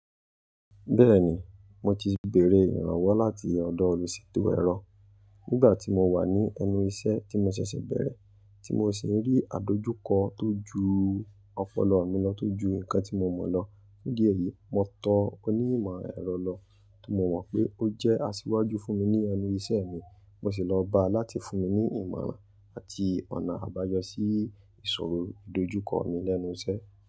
Bẹ́ẹ̀ni, mo ti bèèrè ìrànwọ́ láti ọ̀dọ̀ olùṣètò ẹ̀rọ nígbà tí mo wà ní ẹnu iṣẹ́ tí mo ṣẹ̀ṣẹ̀ bẹ̀rẹ̀, tí mo sì ń rí àdojúkọ tó ju ọpọlọ mi lọ tó ju nǹkan tí mo mọ̀ lọ. Ní di ẹ̀yìí, mo tọ onímọ̀ ẹ̀rọ lọ ti mo mọ̀ pé ó jẹ́ asíwájú fún mi ní ẹnu iṣẹ́ mi, mo sì lọ bá a láti fún mi ní ìmọ̀ràn àti ọ̀nà àbáyọ sí ìṣòro ìdojúkọ mi lẹ́nu iṣẹ́.